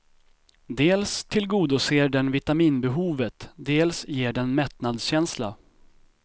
Dels tillgodoser den vitaminbehovet, dels ger den mättnadskänsla.